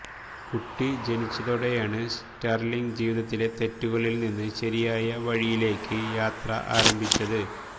കുട്ടി ജനിച്ചതോടെയാണ് സ്റ്റർലിങ് ജീവിതത്തിലെ തെറ്റുകളിൽനിന്ന് ശരിയായ വഴിയിലേക്ക് യാത്ര ആരംഭിച്ചത്